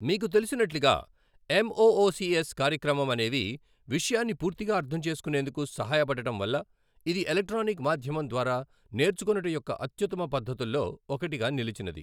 మీకు తెలిసినట్లుగా ఎమ్ఒఒసిఎస్ కార్యక్రమం అనేవి విషయాన్ని పూర్తిగా అర్థం చేసుకునేందుకు సహాయపడడం వల్ల ఇది ఎలక్ట్రానిక్ మాధ్యమం ద్వారా నేర్చుకొనుట యొక్క అత్యుత్తమ పద్ధతుల్లో ఒకటిగా నిలిచినది.